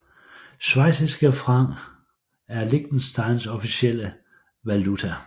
Schweiziske Frank er Liechtensteins officielle valuta